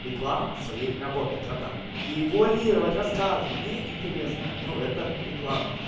реклама своей работы братан и вуалировать рассказывать мне интересно ну это реклама